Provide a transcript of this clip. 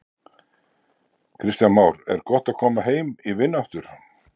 Kristján Már: Er gott að koma heim í vinnu aftur?